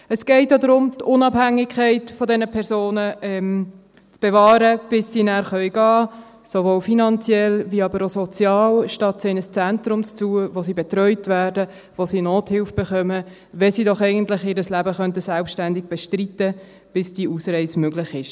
Es geht darum, die Unabhängigkeit dieser Personen zu bewahren, bis sie nachher gehen können, sowohl finanziell als aber auch sozial, statt sie in ein Zentrum zu tun, in dem sie betreut werden, wo sie Nothilfe erhalten, wenn sie doch eigentlich ihr Leben selbstständig bestreiten könnten, bis die Ausreise möglich ist.